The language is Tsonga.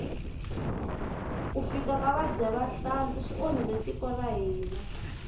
ku fika ka vadyahlampfi swi onhile tiko ra hina